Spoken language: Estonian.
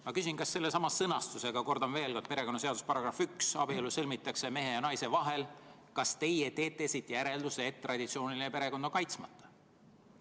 Ma küsin: kas sellest sõnastusest – kordan veel kord, perekonnaseaduse § 1, abielu sõlmitakse mehe ja naise vahel – teie teete järelduse, et traditsiooniline perekond on kaitsmata?